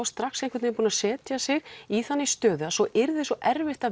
strax einhvern veginn búin að setja sig í þannig stöðu að svo yrði svo erfitt að